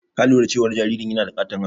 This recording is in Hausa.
Ka lura cewa jaririn yana da ƙaton hannu?